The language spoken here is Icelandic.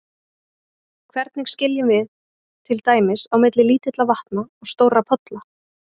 Hvernig skiljum við til dæmis á milli lítilla vatna og stórra polla?